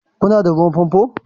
Ku na da ruwan famfo?